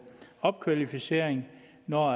opkvalificering når